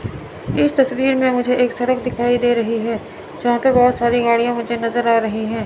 इस तस्वीर में मुझे एक सड़क दिखाई दे रही है जहां पे बहोत सारी गाड़ियां मुझे नजर आ रही है।